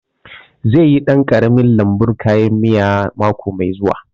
Zai yi ɗan ƙaramin lambun kayan miya mako mai zuwa